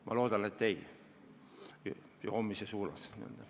Ma loodan, et joomist see ei suurenda.